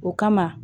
O kama